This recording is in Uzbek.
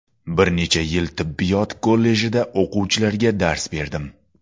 Bir necha yil tibbiyot kollejida o‘quvchilarga dars berdim.